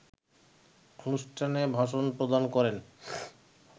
অনুষ্ঠানে ভাষণ প্রদান করেন